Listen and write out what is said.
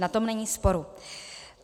O tom není sporu.